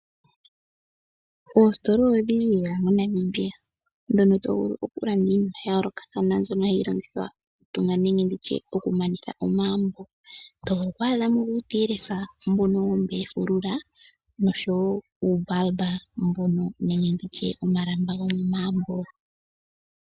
Oositola odhindji lela moNamibia ndhono tovulu okulanda iinima yayoolokathana mbyono tovulu okulongithwa okutungwa nenge okumanithwa omagumbo. Otwaadha mo uutiyelesa mbono wuna oofulula oshowoo omalamba gomoondunda.